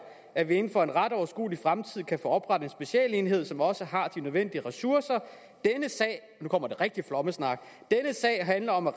at vi inden for en ret overskuelig fremtid kan få oprettet en specialenhed som også har de nødvendige ressourcer og nu kommer den rigtige flommesnak handler om at